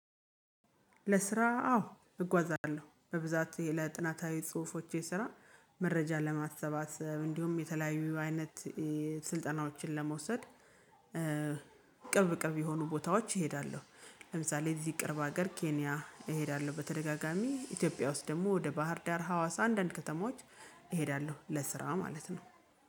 ለስራ አዎ እጓዛለሁ በብዛት ለጥናታዊ ጽሁፎቼ ስራ መረጃ ለማሰባሰብ እንዲሁም የተለያዩ አይነት ስልጠናዎችን ለመውሰድ። ቅርብ ቅርብ የሆኑ ቦታዎች እሄዳለሁ ለምሳሌ እዚህ ቅርብ ሀገር ኬንያ እሄዳለሁ በተደጋጋሚ ኢትዮጵያ ውስጥ ደግሞ ወደ ባህር ዳር ሀዋሳ አንዳንድ ከተማዎች እሄዳለሁ ለስራ ማለት ነው